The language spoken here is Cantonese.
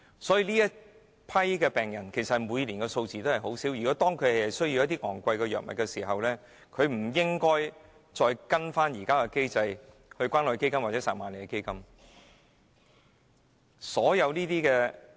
每年確診的病人人數不多。他們如需要一些昂貴藥物，我認為不應該按現行機制向關愛基金和撒瑪利亞基金申請。